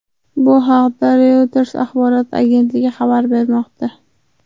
Bu haqda Reuters axborot agentligi xabar bermoqda.